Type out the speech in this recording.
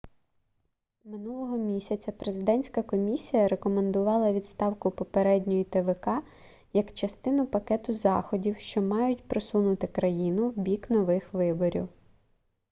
минулого місяця президентська комісія рекомендувала відставку попередньої твк як частину пакету заходів що мають просунути країну в бік нових виборів